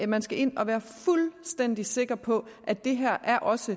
man skal ind og være fuldstændig sikker på at det her også